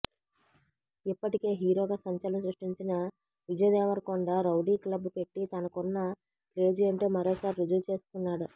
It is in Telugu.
ఇప్పటికే హీరోగా సంచలనం సృష్టించిన విజయ్ దేవరకొండ రౌడీ క్లబ్ పెట్టి తనకున్న క్రేజ్ ఏంటో మరోసారి రుజువు చేసుకున్నాడు